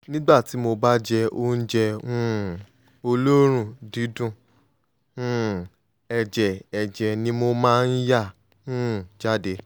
nígbà tí mo bá jẹ oúnjẹ um olórùn dídùn um ẹ̀jẹ̀ ẹ̀jẹ̀ ni mo máa ń yà um jáde